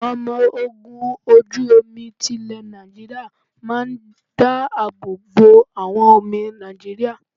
Àwọn ọmọ ogun ojú omi ti lè Nàìjíríà máa ń dá àbọ̀ bo àwọn omi Nàìjíríà.